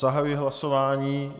Zahajuji hlasování.